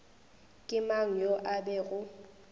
ke mang yo a bego